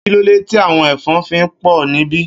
Kilódé ti áwòn èfòn fi pò nibi?